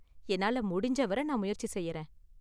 என்னால முடிஞ்ச வர நான் முயற்சி செய்றேன்.